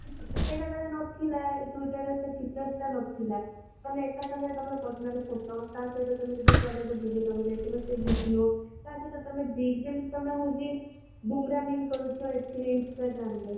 ସେଇଟା ତାର ନଥିଲା ଏ twitter ରେ ସେ features ଟା ନଥିଲା ତମେ ଏକା ସାଙ୍ଗରେ ତମର personally photo ତା ସହିତ ତମେ ଯଦି କୁଆଡେ ବୁଲିବାକୁ ଯାଇଥିବ ସେ video ତା ସହିତ ତମେ ଯେମିତି ତମେ ହଉଛି boomeranging କରୁଛ instagram ରେ